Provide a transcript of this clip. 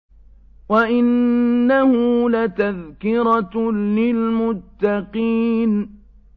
وَإِنَّهُ لَتَذْكِرَةٌ لِّلْمُتَّقِينَ